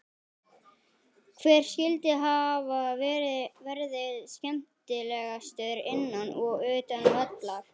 Hver skyldi hafa verði skemmtilegastur innan og utan vallar?